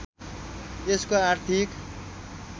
यसको आर्थिक